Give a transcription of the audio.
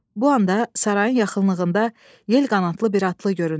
Bu anda sarayın yaxınlığında yelqanadlı bir atlı göründü.